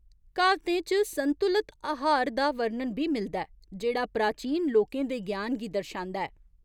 क्हावतें च संतुलत आहार दा वर्णन बी मिलदा ऐ जेह्ड़ा प्राचीन लोकें दे ज्ञान गी दर्शांदा ऐ।